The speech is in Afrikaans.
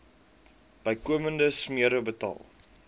bykomende smere betaal